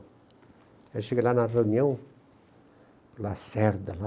Aí eu cheguei lá na reunião, Lacerda lá.